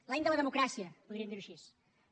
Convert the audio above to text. l’any de la democràcia podríem dir ne així